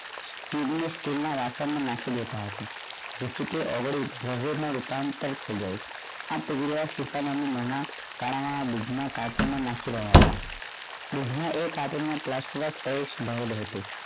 TDS steel ના વાસણ માં નાખી દેતા આખું જેથી તે અવળી જરૂરત માં રૂપાંતર થઈ જાઈ આ નામ ની મણા કાણાં ના દીપ માં કાર્ટુન માં નાખી રહ્યા હતા fridge માં kartun માં plaster of paris ભરેલ હતું